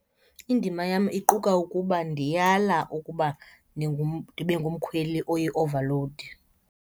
Indima yam iquka ukuba ndiyala ukuba ndibe ngumkhweli oyi-overload.